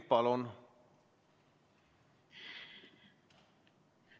Palun!